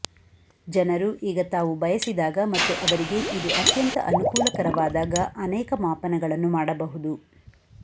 ಜನರು ಈಗ ತಾವು ಬಯಸಿದಾಗ ಮತ್ತು ಅವರಿಗೆ ಇದು ಅತ್ಯಂತ ಅನುಕೂಲಕರವಾದಾಗ ಅನೇಕ ಮಾಪನಗಳನ್ನು ಮಾಡಬಹುದು